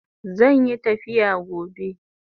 Zanyi tafiya gobe